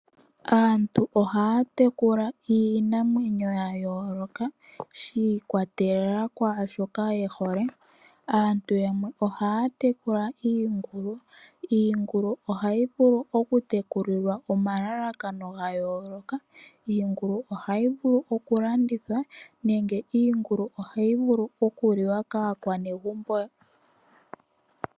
Aantu ohaa tekula iinamwenyo ya yooloka shi ikwa telela kwaashoka ye hole. Aantu yamwe ohaa tekula iingulu. Iingulu ohayi vulu oku tekulilwa omalalakano ga yooloka. Iingulu ohayi vulu oku landithwa nenge iingulu ohayi vulu oku liwa kaa kwanegumbo .